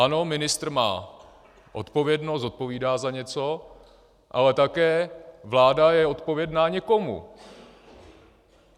Ano, ministr má odpovědnost, zodpovídá za něco, ale také vláda je odpovědná někomu.